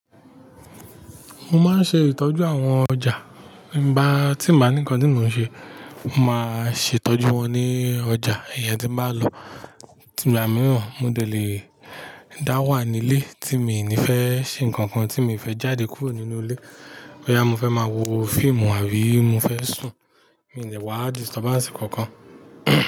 Mo máa ń ṣe ìtọ́jú àwọn ọjà. Ba tí n bá ní ńkan tí mò ń ṣe, mo máa ṣe ìtọ́jú wọn ní ọjà. Ìyẹn tí màá lọ ìgbà mìíràn, mo lè dá wà nílé tí mi ò ní fẹ́ ṣe nǹkan kan tí mi ò fẹ́ jáde kúrò nínú ilé. Boyá mo fẹ́ máa wo fíìmù àbí mo fẹ́ sùn, mí ò ní wá disturb ànsì kankan.